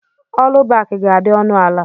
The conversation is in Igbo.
Ọlubaki ga-adị ọnụ ala